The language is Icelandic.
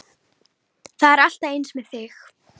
Það er alltaf eins með þig!